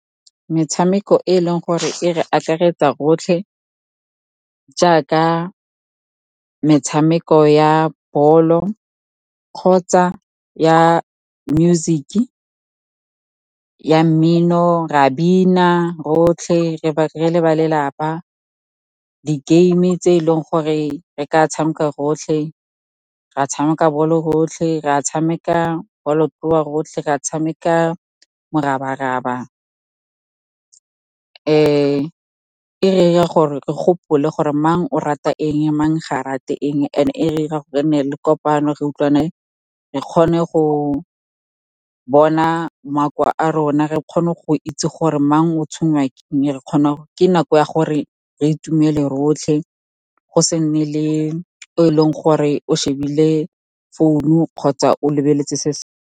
Metshameko e e leng gore e re akaretsa rotlhe, jaaka metshameko ya bolo kgotsa ya mmino, re a bina rotlhe re le ba lelapa. Di-game-e tse e leng gore re ka tshameka rotlhe, ra tshameka bolo rotlhe, ra tshameka bolotloa rotlhe, ra tshameka morabaraba, e re ira gore re gopole gore mang o rata eng, mang ga a rate eng. And e re ira gore e nne le kopano, re utlwane, re kgone go bona makowa a rona, re kgone go itse gore mang o tshwengwa ke eng. Ke nako ya gore re itumele rotlhe, go se nne le o e leng gore o shebile founu kgotsa o lebeletse se.